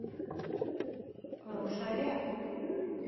рошале